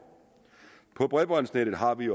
på bredbåndsnettet har vi